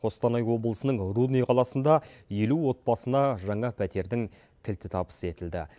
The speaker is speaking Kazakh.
қостанай облысының рудный қаласында елу отбасына жаңа пәтердің кілті табыс етілді